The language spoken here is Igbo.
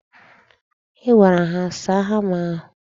I gwara ha saa hama ahụ?